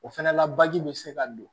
O fɛnɛ la baji bɛ se ka don